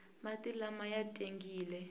mati lama ya tengile